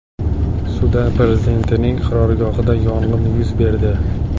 Sudan prezidentining qarorgohida yong‘in yuz berdi.